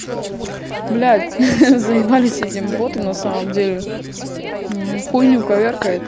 блядь заибали с этим ботом на самом деле хуйню коверкает